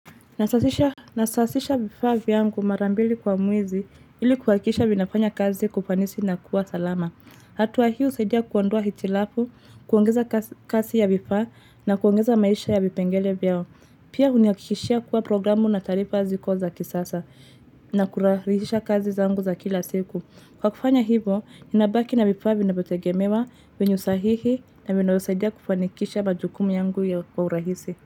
Nasasisha vifaa vyangu mara mbili kwa mwezi ili kuhakikisha vinafanya kazi kwa ufanisi na kuwa salama. Hatua hiyo husaidia kuondua hitilafu, kuongeza kasi ya vifaa na kuongeza maisha ya vipengele vyao. Pia hunihakishia kuwa programu na taarifa ziko za kisasa na kurahisisha kazi zangu za kila siku. Kwa kufanya hivo, ninabaki na vifaa vinavyotegemewa vyenye usahihi na vinavyosaidia kufanikisha majukumu yangu kwa urahisi.